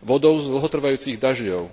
vodou z dlhotrvajúcich dažďov.